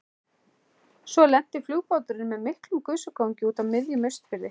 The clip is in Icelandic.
Svo lenti flugbáturinn með miklum gusugangi úti á miðjum Austurfirði.